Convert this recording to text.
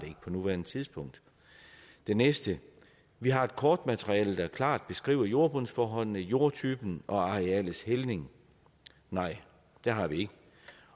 ikke på nuværende tidspunkt det næste vi har et kortmateriale der klart beskriver jordbundsforholdene jordtypen og arealets hældning nej det har vi ikke